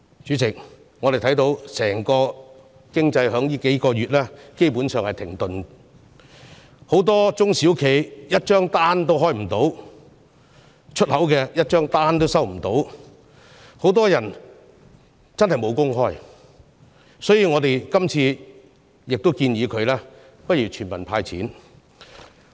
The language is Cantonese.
主席，我們看到整個經濟在最近數月基本上是停頓的，很多中小企一張出口訂單都接不到，很多人無工開，所以，經民聯這次建議政府向全民"派錢"。